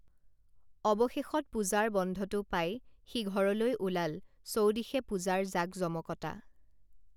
অৱশেষত পূজাৰ বন্ধটো পাই সি ঘৰলৈ ওলাল চৌদিশে পূজাৰ জাকজমকতা